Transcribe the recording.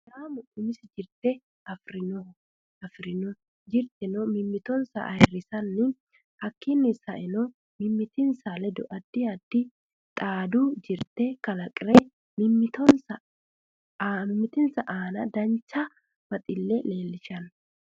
Sidaamu umisi jirte afirinoho afirinno jirtenno mimitosi ayiirisanni hakiini sa'enno mimimitinsa ledo addi addi xaadu jirte kalaqire mimitinsa aana dancha baxille leelishanno